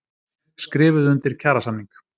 Skrifuðu undir kjarasamning